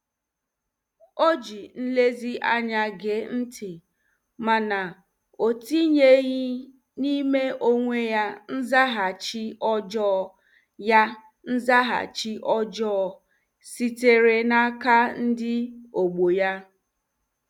O ji nlezianya gee ntị mana o tinyeghị n'ime onwe ya nzaghachi ọjọọ ya nzaghachi ọjọọ sitere n'aka ndị ọgbọ ya.